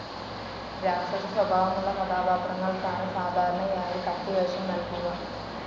രാക്ഷസസ്വഭാവമുള്ള കഥാപാത്രങ്ങൾക്കാണ് സാധാരണയായി കത്തിവേഷം നൽകുക.